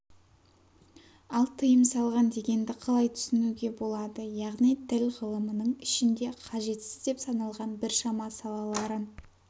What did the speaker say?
ал тыйым салған дегенді қалай түсінуге болады яғни тіл ғылымының ішінде қажетсіз деп саналған біршама салаларын